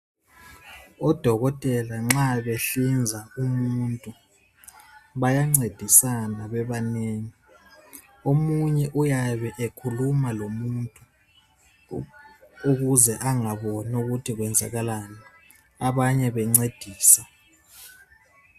Odokotela nxa behlinza umuntu bayancedisana bebanengi omunye uyabe ekhuluma lomuntu ukuze angaboni ukuthi kwenzakalani abanye bencedisa.